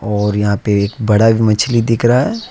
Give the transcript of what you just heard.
और यहां पे एक बड़ा भी मछली दिख रहा है।